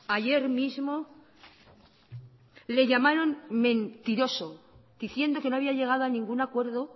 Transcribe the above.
ayer mismo le llamaron mentiroso diciendo que no había llegado a ninguna acuerdo